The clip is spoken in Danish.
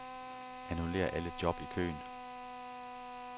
Annullér alle job i køen.